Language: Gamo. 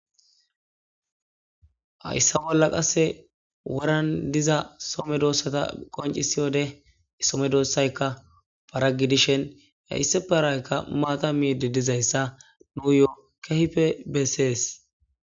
hayssa bolla qasse woran diza some doossata qoncisi wode some doossaykka paragidishen hessiparaykka maata miidi dizayssa nuyoo kehpe bessees.